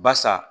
Basa